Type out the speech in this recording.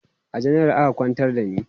a janaral aka kwantar da ni